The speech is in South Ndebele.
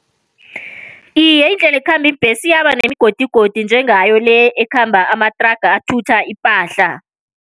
Iye, indlela ekhamba iimbhesi iyaba nemigodigodi njengaleyo le ekhamba amathraga athutha ipahla.